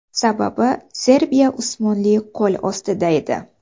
Sababi, Serbiya Usmonli qo‘l ostida edi.